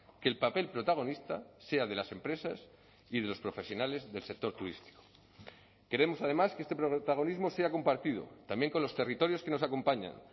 que el papel protagonista sea de las empresas y de los profesionales del sector turístico queremos además que este protagonismo sea compartido también con los territorios que nos acompañan